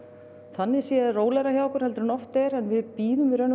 þannig séð rólegra hjá okkur en oft er en við bíðum